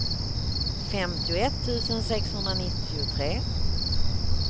femtioett tusen sexhundranittiotre